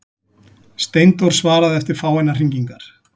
Steindór svaraði eftir fáeinar hringingar.